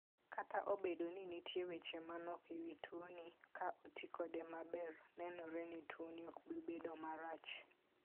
Kata obedo ni nitie weche manok e wi tuoni, ka oti kode maber, nenore ni tuoni ok bi bedo marach.